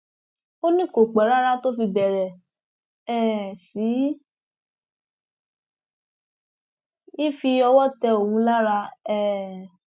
ó ní kò pẹ rárá tó fi bẹrẹ um sí í fi ọwọ tẹ òun lára um